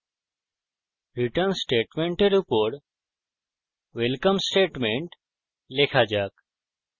return স্টেটমেন্টের উপর welcome statement লেখা যাক